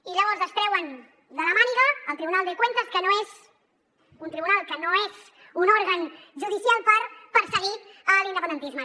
i llavors es treuen de la màniga el tribunal de cuentas que no és un tribunal que no és un òrgan judicial per perseguir l’independentisme